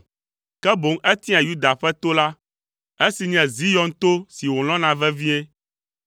Ke boŋ etia Yuda ƒe to la, esi nye Zion to si wòlɔ̃na vevie.